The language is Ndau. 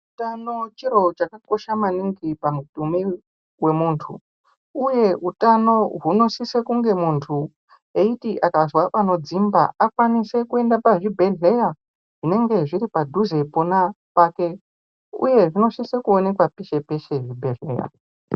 Utano chiro chakakosha maningi pamutumbi wemuntu, Uye utano hunosise kunge muntu eiti akazwa panodzimba, akwanise kuenda pazvibhedhleya zvinenge zviri padhuze pona pake, uye zvinosise kuonekwa peshe peshe zvibhedhleya.